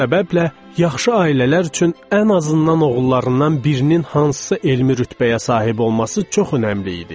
Bu səbəblə yaxşı ailələr üçün ən azından oğullarından birinin hansısa elmi rütbəyə sahib olması çox önəmli idi.